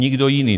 Nikdo jiný.